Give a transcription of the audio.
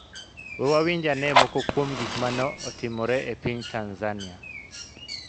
We wawinj ane moko kuom gik ma ne otimore e piny Tanzania.